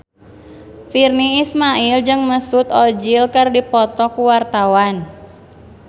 Virnie Ismail jeung Mesut Ozil keur dipoto ku wartawan